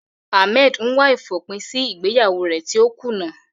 Ahmed ń wá ìfòpin sí ìgbéyàwó rẹ̀ tí ó kùnà.